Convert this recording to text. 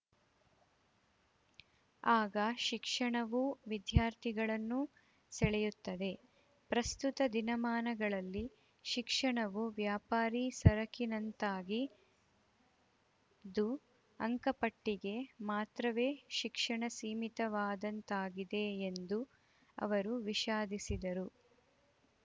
ಆಗ ಶಿಕ್ಷಣವೂ ವಿದ್ಯಾರ್ಥಿಗಳನ್ನು ಸೆಳೆಯುತ್ತವೆ ಪ್ರಸ್ತುತ ದಿನಮಾನಗಳಲ್ಲಿ ಶಿಕ್ಷಣವು ವ್ಯಾಪಾರಿ ಸರಕಿನಂತಾಗಿದ್ದು ಅಂಕಪಟ್ಟಿಗೆ ಮಾತ್ರವೇ ಶಿಕ್ಷಣ ಸೀಮಿತವಾದಂತಾಗಿದೆ ಎಂದು ಅವರು ವಿಷಾದಿಸಿದರು